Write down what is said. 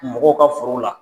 Mɔgɔw ka foro la